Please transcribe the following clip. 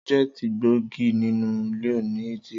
Sọjẹti gbógì ninu liọ ní ìtírí.